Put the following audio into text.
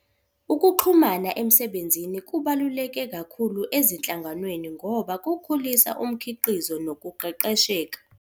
Ukuxhumana emsebenzini kubaluleke kakhulu ezinhlanganweni ngoba kukhulisa umkhiqizo nokuqeqesheka.